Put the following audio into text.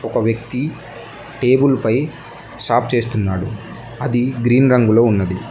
ఒక వ్యక్తి టేబుల్ పై సాప్ చేస్తున్నాడు అది గ్రీన్ రంగులో ఉన్నది.